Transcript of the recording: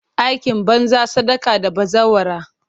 Aikin banza, sadaka da bazawara.